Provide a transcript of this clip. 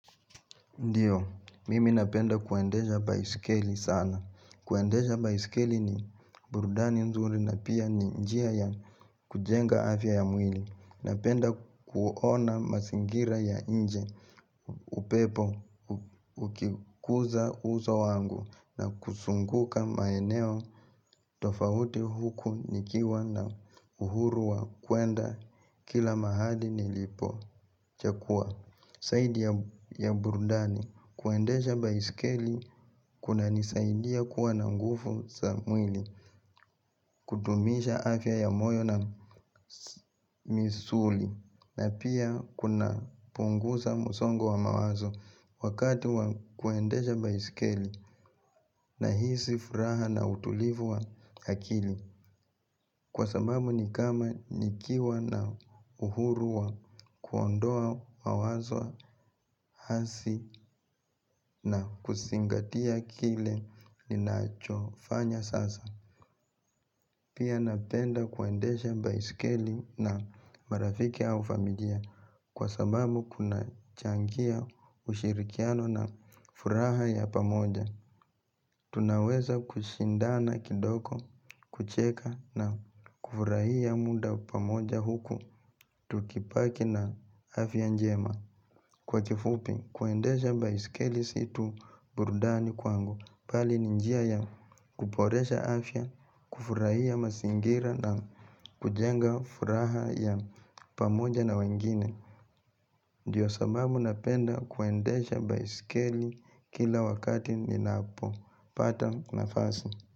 Ndiyo, mimi napenda kuendesha baiskeli sana. Kuendesha baiskeli ni burudani nzuri na pia ni njia ya kujenga afya ya mwili. Napenda kuona mazingira ya nje upepo ukiguza uso wangu na kuzunguka maeneo tofauti huku nikiwa na uhuru wa kuenda kila mahali nilipochahua. Zaidi ya burudani kuendesha baiskeli kunanisaidia kuwa na nguvu za mwili kudumisha afya ya moyo na misuli na pia kuna punguza msongo wa mawazo wakati wa kuendesha baiskeli nahisi furaha na utulivu wa akili. Kwa sababu ni kama nikiwa na uhuru wa kuondoa mawazo hasi na kuzingatia kile ninachofanya sasa. Pia napenda kuendesha baiskeli na marafiki au familia kwa sababu kunachangia ushirikiano na furaha ya pamoja. Tunaweza kushindana kidogo, kucheka na kufurahia muda pamoja huku, tukibaki na afya njema Kwa kifupi, kuendesha baiskeli si tu burudani kwangu bali ni njia ya kuboresha afya, kufurahia mazingira na kujenga furaha ya pamoja na wengine Ndiyo sababu napenda kuendesha baiskeli kila wakati ninapopata nafasi.